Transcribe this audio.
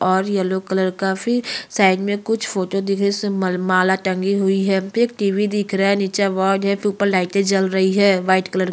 और yellow colour काफी side में कुछ फोटो दिख रहै हैं जिसमें मल माला टंगी हुई है यहाँ पे टी_वी दिख रहा है नीचे अवार्ड है तो ऊपर लाइटे जल रही है वाइट कलर की --